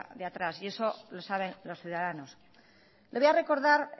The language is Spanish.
de atrás y eso lo saben los ciudadanos le voy a recordar